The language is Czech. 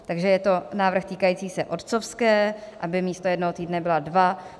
Takže je to návrh týkající se otcovské, aby místo jednoho týdne byla dva.